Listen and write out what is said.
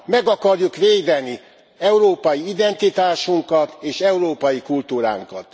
Meg akarjuk védeni európai identitásunkat és európai kultúránkat!